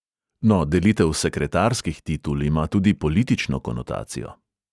No, delitev sekretarskih titul ima tudi politično konotacijo.